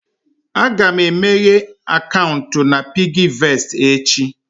Aga m emeghe akaụntụ na PiggyVest echi